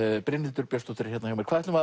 Brynhildur Björnsdóttir er hérna hjá mér hvað ætlum